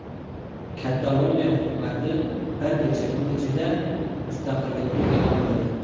Kataloniya hukumati bir necha kun ichida mustaqillikni e’lon qiladi.